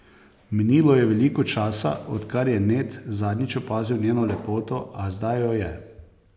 Minilo je veliko časa, odkar je Ned zadnjič opazil njeno lepoto, a zdaj jo je.